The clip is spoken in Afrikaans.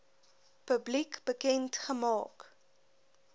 publiek bekend gemaak